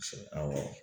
Awɔ